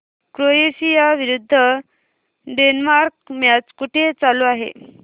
Croatia विरुद्ध Denmark match कुठे चालू आहे